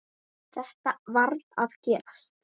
Þetta varð að gerast.